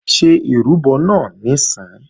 Ṣé ìrúbọ náà níìsín!